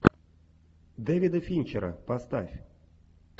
дэвида финчера поставь